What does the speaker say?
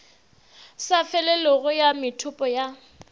sa felego ya methopo ya